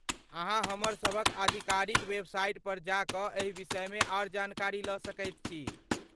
अहाँ हमरसभक आधिकारिक वेबसाइट पर जा कऽ एहि विषयमे आर जानकारी लऽ सकैत छी।